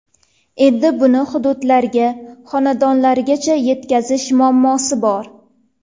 Endi buni hududlarga, xonadonlargacha yetkazish muammosi bor.